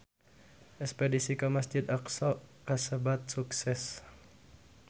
Espedisi ka Masjid Aqsa kasebat sukses